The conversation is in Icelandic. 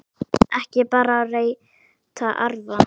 Ekki bara að reyta arfa!